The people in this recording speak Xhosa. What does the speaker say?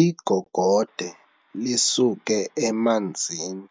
Igogode lisuke emanzini